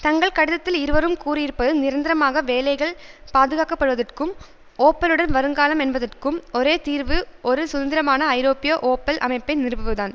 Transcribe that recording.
தங்கள் கடிதத்தில் இருவரும் கூறியிருப்பது நிரந்தரமாக வேலைகள் பாதுகாக்கப்படுவதற்கும் ஓப்பலுடன் வருங்காலம் என்பதற்கும் ஒரே தீர்வு ஒரு சுதந்திரமான ஐரோப்பிய ஓப்பல் அமைப்பை நிறுவுவதுதான்